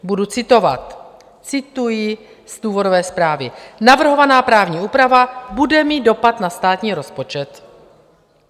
Budu citovat - cituji z důvodové zprávy: Navrhovaná právní úprava bude mít dopad na státní rozpočet.